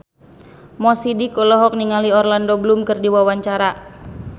Mo Sidik olohok ningali Orlando Bloom keur diwawancara